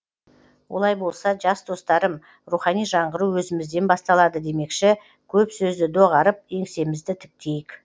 олай болса жас достарым рухани жаңғыру өзімізден басталады демекші көп сөзді доғарып еңсемізді тіктейік